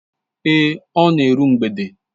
Èé, ọ na eru mgbede.